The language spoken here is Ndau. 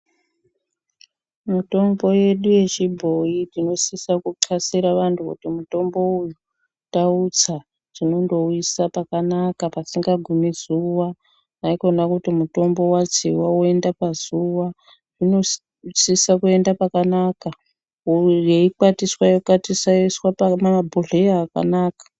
Mitombo yedu yechibhoyi tinosisa kuthlasira vantu kuti mutombo uyu tautsa tinondouise pakanaka pasingagumi zuwa haikona kuti mutombo watsiwa woenda pazuwa inosisa kuenda pakanaka yeikwatiswa ,yokwatiswa yoiswa pamabhohleya akanaka.